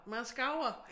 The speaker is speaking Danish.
Man skaver